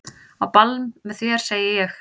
Á ball með þér segi ég.